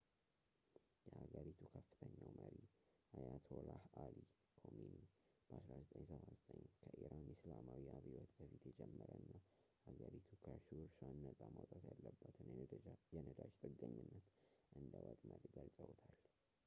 የሀገሪቱ ከፍተኛው መሪ አያቶላህ አሊ ኮሚኒ በ1979 ከኢራን እስላማዊ አብዮት በፊት የጀመረ እና አገሪቱ ከርሱ እራሷን ነጻ ማውጣት ያለባትን የነዳጅ ጥገኝነት እንደ ወጥመድ ገልፀውታል